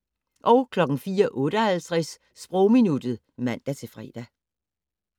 04:58: Sprogminuttet (man-fre)